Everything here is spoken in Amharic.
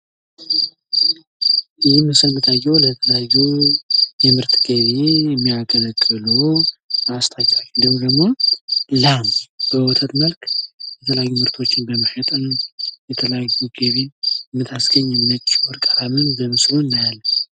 ይህ ምስል የሚታየው ለተለያዩ የምርት ገቢ የሚያገለግሉ ማስታወቂያዎች እንድሁም ደግሞ ላም በወተት መልክ የተለያዩ ምርቶችን በመሸጥም የተለያዩ ገቢ ታስገኛለች። ይህን በምስሉ እናያለን።